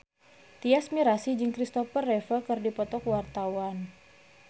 Tyas Mirasih jeung Christopher Reeve keur dipoto ku wartawan